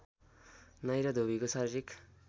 नाई र धोबीको शारीरिक